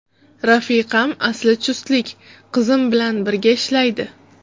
Rafiqam asli chustlik, qizim bilan birga ishlaydi.